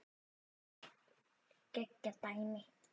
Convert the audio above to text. Geggjað dæmi.